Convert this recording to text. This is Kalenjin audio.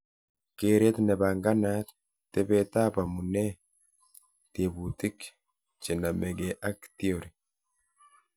Keret nebanganat- tebetab amunee tebutik chenameke ak theory